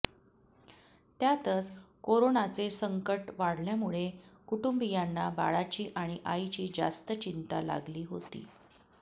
त्यातच कोरोनाचे संकट वाढल्यामुळे कुटुंबीयांना बाळाची आणि आईची जास्त चिंता लागली होती